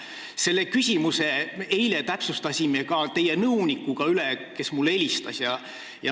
Selle küsimuse me täpsustasime eile üle ka teie nõunikuga, kes mulle helistas.